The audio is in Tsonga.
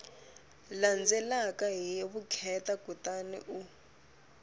landzelaka hi vukheta kutani u